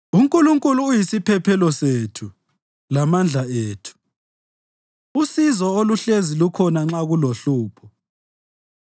UNkulunkulu uyisiphephelo sethu lamandla ethu, usizo oluhlezi lukhona nxa kulohlupho.